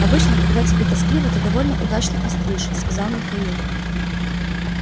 обычно когда тебе тоскливо ты довольно удачно остришь сказал михаил